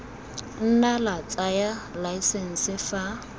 nna la tsaya laesense fa